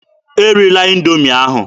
E rila Indoomi ahụ!